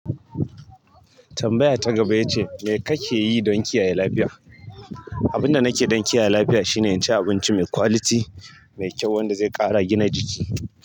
Tambaya ta gaba ya ce, me kake yi don kiyaye lafiya? Abin da nake don kiyaye lafiya shine in ci abinci mai quality, mai kyau wanda zai ƙara gina jiki.